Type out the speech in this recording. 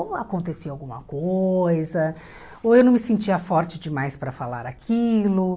Ou acontecia alguma coisa, ou eu não me sentia forte demais para falar aquilo.